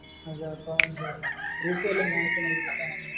proof വല്ലതും കാണിക്കാനോ ഇത് കിട്ടാൻ വേണ്ടി?